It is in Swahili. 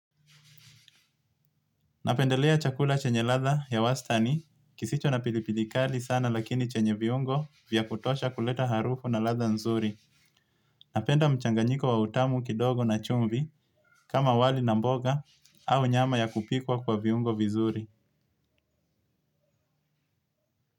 Napendelea chakula chenye latha ya wastani kisicho na pilipili kali sana lakini chenye viungo vya kutosha kuleta harufu na latha nzuri. Napenda mchanganyiko wa utamu kidogo na chumvi kama wali na mboga au nyama ya kupikwa kwa viungo vizuri.